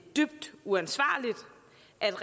er